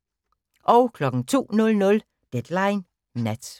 02:00: Deadline Nat